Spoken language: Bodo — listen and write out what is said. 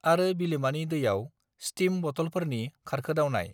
आरो बिलोमानि दैयाव ष्टीम बटफोरनि खारखोदावनाय